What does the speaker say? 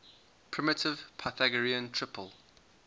primitive pythagorean triple